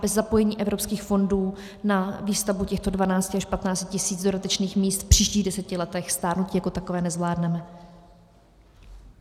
Bez zapojení evropských fondů na výstavbu těchto 12 až 15 tisíc dodatečných míst v příštích deseti letech stárnutí jako takové nezvládneme.